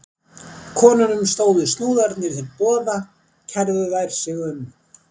Konunum stóðu snúðarnir til boða kærðu þær sig um.